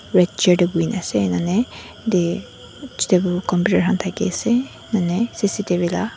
red chair te bohe kini ase nane de computer khan thaki mane cctv laga--